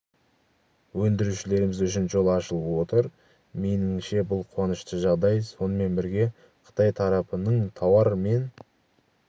өндірушілеріміз үшін жол ашылып отыр меніңше бұл қуанышты жағдай сонымен бірге қытай тарапының тауар мен